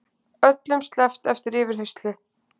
Öllum sleppt eftir yfirheyrslu